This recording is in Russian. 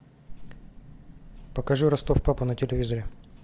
покажи ростов папа на телевизоре